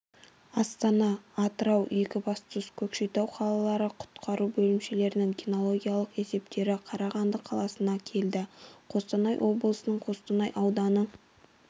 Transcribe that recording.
астана атырау екібастұз көкшетау қалалары құтқару бөлімшелерінің кинологиялық есептері қарағанды қаласына келді қостанай облысының қостанай ауданы